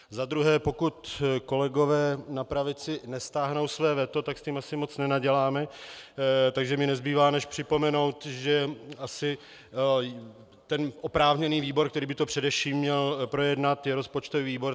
Za druhé, pokud kolegové na pravici nestáhnou své veto, tak s tím asi moc nenaděláme, takže mi nezbývá než připomenout, že asi ten oprávněný výbor, který by to především měl projednat, je rozpočtový výbor.